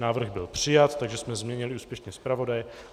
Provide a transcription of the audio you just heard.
Návrh byl přijat, takže jsme změnili úspěšně zpravodaje.